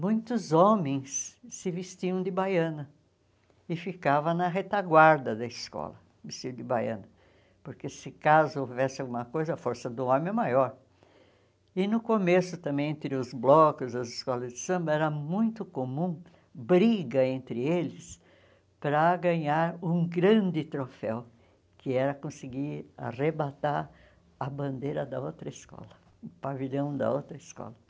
muitos homens se vestiam de baiana e ficava na retaguarda da escola vestido de baiana porque se caso houvesse alguma coisa a força do homem é maior e no começo também entre os blocos, as escolas de samba era muito comum briga entre eles para ganhar um grande troféu que era conseguir arrebatar a bandeira da outra escola o pavilhão da outra escola